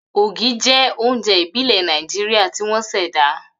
Ogi jẹ́ oúnjẹ ìbílẹ̀ Nàìjíríà tí wọ́n ṣẹ̀dá.